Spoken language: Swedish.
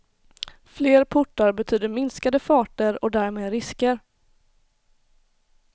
Fler portar betyder minskade farter och därmed risker.